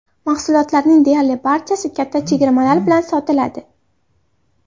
Mahsulotlarning deyarli barchasi katta chegirmalar bilan sotiladi.